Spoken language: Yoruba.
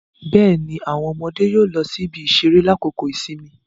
Bẹẹni, awọn ọmọde yóò lọ sí ibi-iṣere lakoko ìsinmi